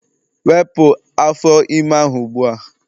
wepụ afọ ime ahụ ugbu a!